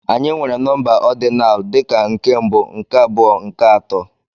Anyị nwere nọmba ordinal dị ka nke mbụ, nke abụọ, nke atọ.